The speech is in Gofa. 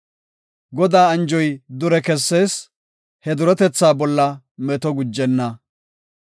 Godaa anjoy dure kessees; he duretetha bolla meto gujenna.